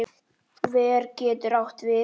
Ver getur átt við